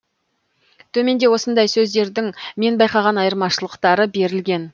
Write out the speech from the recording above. төменде осындай сөздердің мен байқаған айырмашылықтары берілген